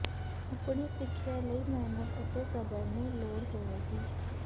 ਆਪਣੀ ਸਿੱਖਿਆ ਲਈ ਮਿਹਨਤ ਅਤੇ ਸਬਰ ਨੂੰ ਲੋੜ ਹੋਵੇਗੀ